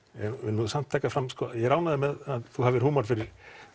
nú samt taka það fram ég er ánægður með að þú hafir húmor fyrir